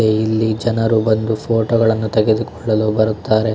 ಇಲ್ಲಿ ಜನರು ಬಂದು ಫೋಟೋ ಗಳನ್ನೂ ತೆಗೆದು ಕೊಳ್ಳಲು ಬರುತ್ತಾರೆ.